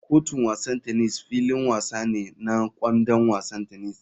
Kotun wasan tennis filin wasa ne na [kwandon wasan tennis.